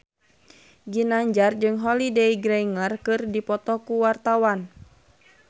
Ginanjar jeung Holliday Grainger keur dipoto ku wartawan